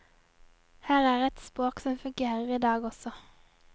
Her er et språk som fungerer i dag også.